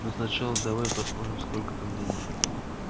но сначала давай посмотрим сколько там денег